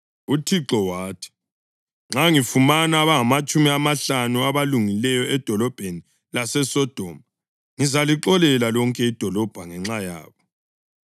UThixo wathi, “Nxa ngifumana abangamatshumi amahlanu abalungileyo edolobheni laseSodoma, ngizalixolela lonke idolobho ngenxa yabo.”